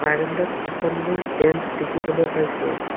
বাৰাণ্ডাত এখনে মই বেঞ্চ দেখিবলৈ পাইছোঁ।